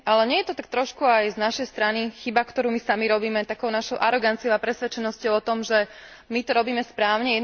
Ale nie je to tak trošku aj z našej strany chyba, ktorú my sami robíme takou našou aroganciou a presvedčením o tom, že my to robíme správne?